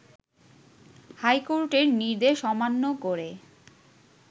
হাইকোর্টের নির্দেশ অমান্য করে